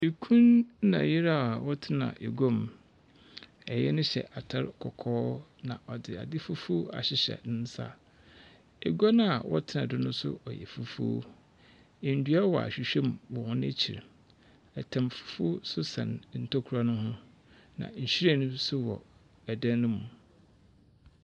Ekun ne yere a wɔtinaa egwa mu ɛyere no hyɛ atade kɔkɔɔ na ɔde ade fufuo ahyihyɛ nisa egwa na wɔtena so no nso ɔyɛ fufuo edua wɔ ahwihwɛ mu wɔ wɔn akyi ɛtam fufuo so sɛn ntokua no ho na nhwiren nsonso wɔ ɔdan no mu.